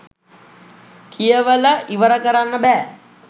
කියවල ඉවර කරන්න බෑ